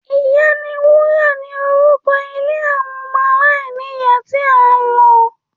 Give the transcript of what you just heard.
‘Ìyá ni wúrà’ ni orúko̩ ilé àwo̩n o̩mo̩ aláìníyàá tí a lo̩